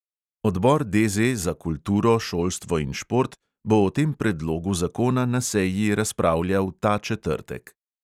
Odbor DZ za kulturo, šolstvo in šport bo o tem predlogu zakona na seji razpravljal ta četrtek.